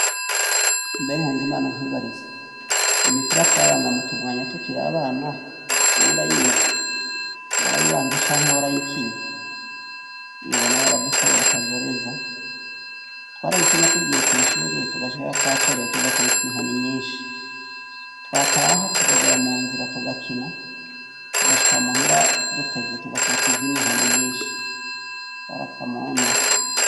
Mbe nkuzimana nkwibariza imipira twabanga mu tumwanya tukiri abana wowe urayizi, warayibanze canke warayikinye iyubona yaradukoreye akajoreza twarayikina tugiye kw'ishuri tugashikaka twacerewe tugakubitwa inkoni nyinshi twataha tugagera mu nzira tugakina tugashika muhira dutevye tugakubitwa izindi nkoni nyinshi zarakamuna.